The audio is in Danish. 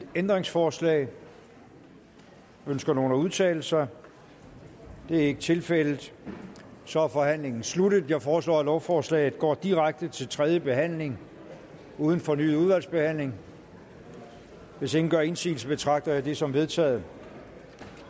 ændringsforslag ønsker nogen at udtale sig det er ikke tilfældet og så er forhandlingen sluttet jeg foreslår at lovforslaget går direkte til tredje behandling uden fornyet udvalgsbehandling hvis ingen gør indsigelse betragter jeg det som vedtaget